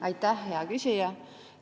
Aitäh, hea küsija!